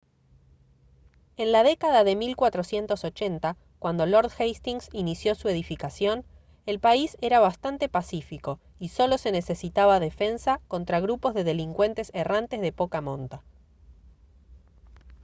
en la década de 1480 cuando lord hastings inició su edificación el país era bastante pacífico y solo se necesitaba defensa contra grupos de delincuentes errantes de poca monta